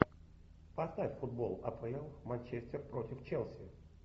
поставь футбол апл манчестер против челси